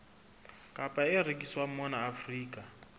kapa e rekiswang mona afrika